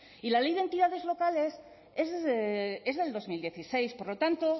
y la ley de entidades locales es del dos mil dieciséis por lo tanto